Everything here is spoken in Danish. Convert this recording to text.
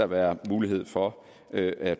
være mulighed for at at